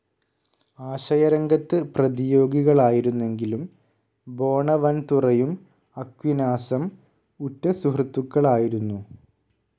ആശയരംഗത്ത് പ്രതിയോഗികളായിരുന്നെങ്കിലും ബോണവൻതുറയും അക്വിനാസം ഉറ്റ സുഹൃത്തുക്കളായിരുന്നു.